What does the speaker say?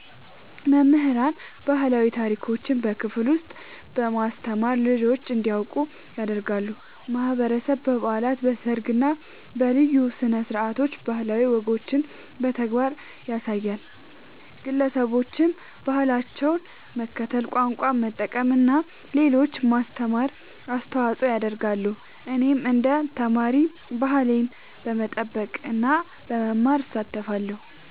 መምህራን ባህላዊ ታሪኮችን በክፍል ውስጥ በማስተማር ልጆች እንዲያውቁ ያደርጋሉ። ማህበረሰብ በበዓላት፣ በሰርግ እና በልዩ ስነ-ስርዓቶች ባህላዊ ወጎችን በተግባር ያሳያል። ግለሰቦችም በባህላቸው መከተል፣ ቋንቋ መጠቀም እና ለሌሎች ማስተማር አስተዋጽኦ ያደርጋሉ። እኔም እንደ ተማሪ ባህሌን በመጠበቅ እና በመማር እሳተፋለሁ።